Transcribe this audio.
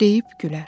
Deyib gülər.